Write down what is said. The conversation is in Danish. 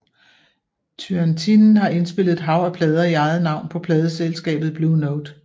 Turrentine har indspillet et hav af plader i eget navn på pladeselskabet Blue Note